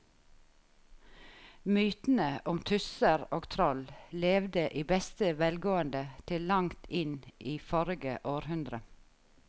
Mytene om tusser og troll levde i beste velgående til langt inn i forrige århundre.